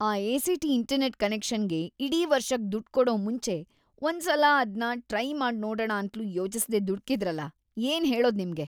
ಆ ACT. Internet ಕನೆಕ್ಷನ್‌ಗೆ ಇಡೀ ವರ್ಷಕ್‌ ದುಡ್ಡ್‌ ಕೊಡೋ ಮುಂಚೆ ಒಂದ್ಸಲ ಅದ್ನ ಟ್ರೈ ಮಾಡ್‌ ನೋಡಣ ಅಂತ್ಲೂ ಯೋಚಿಸ್ದೇ ದುಡುಕಿದ್ರಲ, ಏನ್‌ ಹೇಳೋದ್‌ ನಿಮ್ಗೆ?!